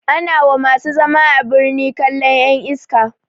Ana wa masu zama a birni kallan ƴan iska